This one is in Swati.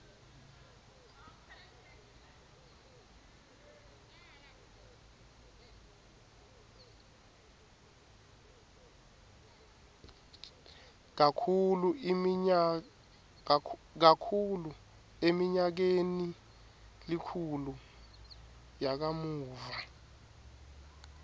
kakhulu eminyakenilikhulu yakamuva